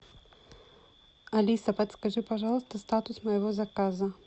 алиса подскажи пожалуйста статус моего заказа